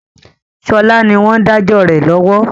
Sọlá ni wọn ń dájọ́ rẹ lọ́wọ́